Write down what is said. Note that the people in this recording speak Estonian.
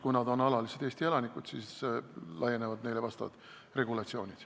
Kui nad on alalised Eesti elanikud, siis laienevad neile vastavad eeskirjad.